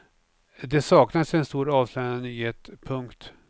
Det saknades en stor avslöjande nyhet. punkt